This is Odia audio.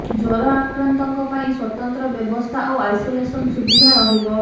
ଜ୍ୱର ଆକ୍ରାନ୍ତଙ୍କ ପାଇଁ ସ୍ୱତନ୍ତ୍ର ବ୍ୟବସ୍ଥା ଓ ଆଇସୋଲେସନ ସୁବିଧା ରହିବ